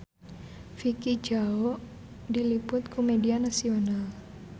Vicki Zao diliput ku media nasional